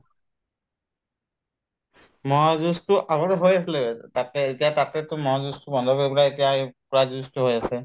মহৰ যুঁজতো আগতে হৈ আছিলে তাতে এতিয়া তাতেতো মহৰ যুঁজতো বন্ধ কৰি পেলাই এতিয়া এই হৈ আছে